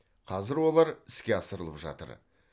қазір олар іске асырылып жатыр